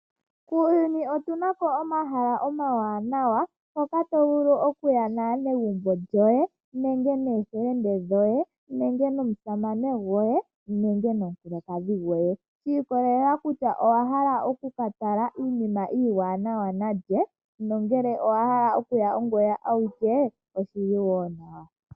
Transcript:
Muuyuni otu na mo omahala omawanawa hoka to vulu okuya naanegumbo lyoye, nenge noofelende shoye, nenge nomusamane gwoye nenge nomukulukadhi gwoye shi ikolelela kutya owa hala oku ka tala iinima yoye iiwanawa nalye, nongele owa hala okuya ongoye awike, oshili wo nawa.